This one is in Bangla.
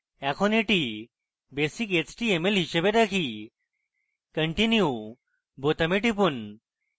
এখন এটি basic html হিসাবে রাখি continue বোতামে টিপুন